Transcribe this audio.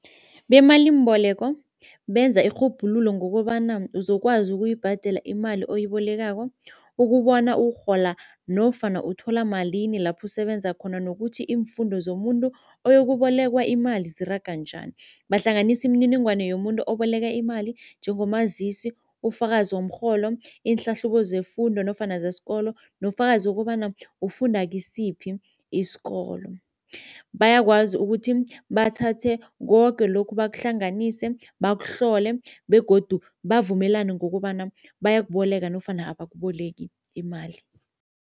Bemalimboleko benza irhubhululo ngokobana uzokwazi ukuyibhadela imali oyibolekako ukubona urhola nofana uthola malini lapho usebenza khona nokuthi iimfundo zomuntu oyokubolekwa imali ziraga njani. Bahlanganisa imininingwana yomuntu oboleka imali njengomazisi, ufakazi womrholo, iinhlahlubo zefundo nofana zesikolo nobufakazi wokobana ufunda kisiphi isikolo. Bayakwazi ukuthi bathathe koke lokhu bakuhlanganise bakuhlole begodu bavumelane ngokobana bayakuboleka nofana abakuboleki imali.